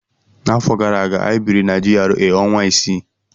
N'afọ gara aga, anyị biri na GRA ọnwa isii.